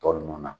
Tɔ ninnu na